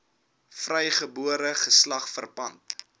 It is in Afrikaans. vrygebore geslag verpand